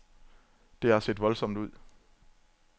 Det har set voldsomt ud.